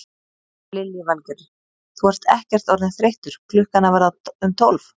Lillý Valgerður: Þú ert ekkert orðinn þreyttur klukkan að verða um tólf?